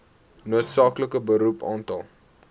noodsaaklike beroep aantal